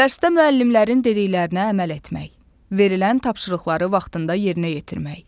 Dərsdə müəllimlərin dediklərinə əməl etmək, verilən tapşırıqları vaxtında yerinə yetirmək.